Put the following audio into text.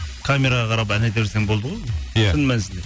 камераға қарап ән айта берсең болды ғой иә шын мәнісінде